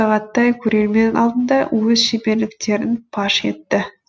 сағаттай көрермен алдында өз шеберліктерін паш етті